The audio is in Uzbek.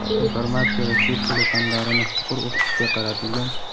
informatika va chet tili fanlarini chuqur o‘qitishga qaratilgan.